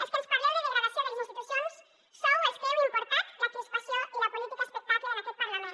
els que ens parleu de degradació de les institucions sou els que heu importat la crispació i la política espectacle en aquest parlament